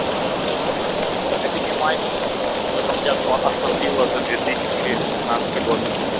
найди мне матч в котором участвовала астон вилла за две тысячи шестнадцатый год